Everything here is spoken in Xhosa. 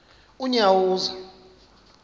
unyawuza